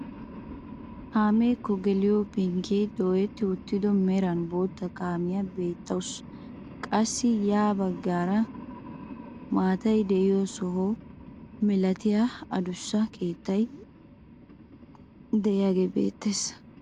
Kaameekko geliyoo penggee dooyetti uttido meran bootta kaamiyaa beettawus. qassi ya baggaara matay de'iyoo soho milatiyaa adussa keettay de'iaagee beettees.